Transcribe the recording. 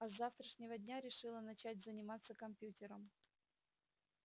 а с завтрашнего дня решила начать заниматься компьютером